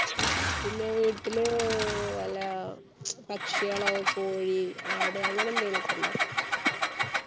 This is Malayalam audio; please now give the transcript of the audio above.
പിന്നെ വീട്ടില് ഏർ വല്ല പക്ഷികളോ കോഴി ആട് അങ്ങനെ എന്തെങ്കിലും ഒക്കെ ഉണ്ടോ